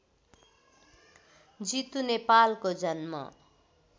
जितु नेपालको जन्म